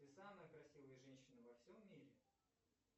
ты самая красивая женщина во всем мире